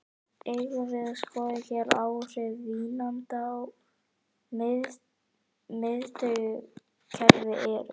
Eigum við að skoða hver áhrif vínanda á miðtaugakerfið eru?